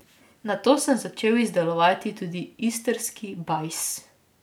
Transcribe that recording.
Nato sem začel izdelovati tudi istrski bajs.